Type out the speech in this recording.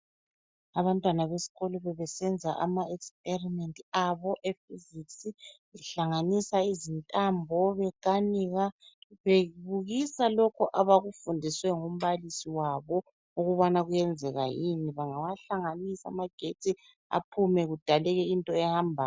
Abantwana besikolo bebesenza ama experiment abo e physics behlanganisa izintambo bekanika bebukisa lokho abakufundiswe ngumbalisi wabo ukubana kuyenzeka yini bengawahlanganisa yini amagetsi aphume kudaleke into ehambayo